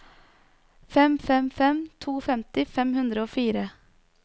fem fem fem to femti fem hundre og fire